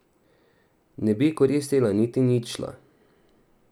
Ne bi koristila niti ničla.